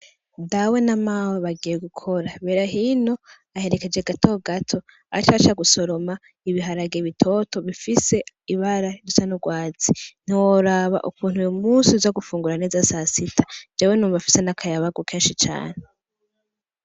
Dawe na mawe bagiye gukora. Berahino aherekeje Gatogato ace aja gusoroma ibiharage bitoto bifise ibara risa n'urwatse. Ntiworaba ukuntu uyo munsi uza gufungura neza sasita, jewe numva mfise n'akayabagu kenshi cane.